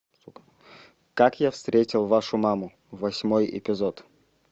как я встретил вашу маму восьмой эпизод